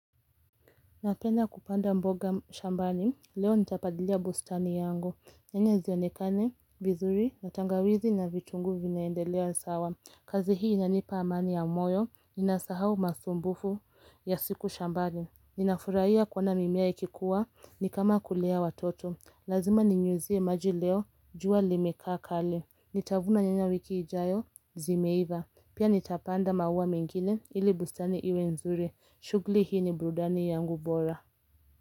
Napenda kupanda mboga shambani, leo nitapalilia bustani yangu. Nyanya zionekane vizuri, na tangawizi na vitunguu vinaendelea sawa. Kazi hii inanipa amani ya moyo, ninasahau masumbufu ya siku shambani. Ninafurahia kuona mimea ikikua, ni kama kulea watoto. Lazima ninyunyuzie maji leo, jua limekaa kali. Nitavuna nyanya wiki ijayo, zimeiva. Pia nitapanda maua mengine ili bustani iwe nzuri. Shughuli hii ni burudani yangu bora.